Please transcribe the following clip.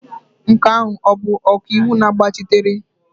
Nke ahụ ọ bụ ọkaiwu na-agbachitere?